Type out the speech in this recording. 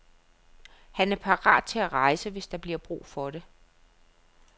Han er parat til at rejse, hvis der bliver brug for det.